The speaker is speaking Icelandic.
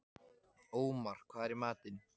Ómar, hvað er í matinn?